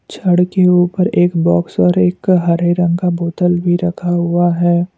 छड़ के ऊपर एक बॉक्स और एक हरे रंग का बोतल भी रखा हुआ है।